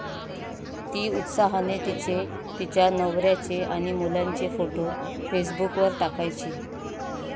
ती उत्साहाने तिचे, तिच्या नवर्याचे आणि मुलांचे फोटो फेसबुकवर टाकायची.